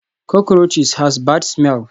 Cockroaches has bad smell